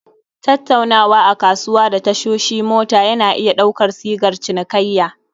Tattaunawa a kasuwa da tashoshi mota yana iya ɗaukar sigar cinikayya